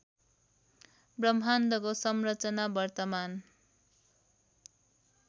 ब्रह्माण्डको संरचना वर्तमान